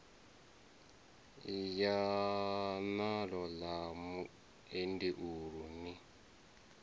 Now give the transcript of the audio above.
ya naḽo ḽa muendeulu ni